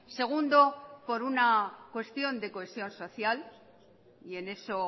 segundo por una cuestión de cohesión social y en eso